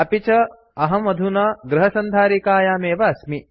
अपि व अहं अधुना गृहसन्धारिकायामेव अस्मि